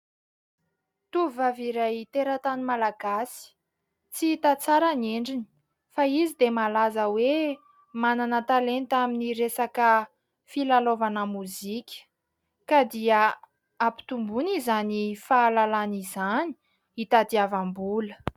Tovovavy iray teratany malagasy, tsy hita tsara ny endriny, fa izy dia malaza hoe manana talenta amin'ny resaka filalaovana mozika. Ka dia ampitomboiny izany fahalalana izany hitadiavam-bola.